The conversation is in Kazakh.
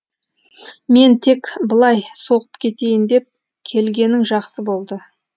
мен тек былай соғып кетейін деп келгенің жақсы болды